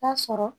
Taa sɔrɔ